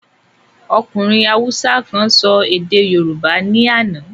Ọkùnrin haúsá kan sọ èdè yorùbá ní àná.